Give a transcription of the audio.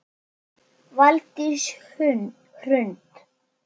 Valdís Hrund.